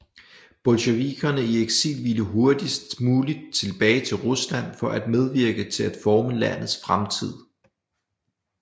Bolsjevikerne i eksil ville hurtigst muligt tilbage til Rusland for at medvirke til at forme landets fremtid